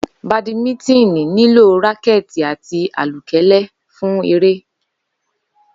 Badminton nílò rákẹ́ẹ̀kì àti àlùkẹ́lẹ́ fún eré.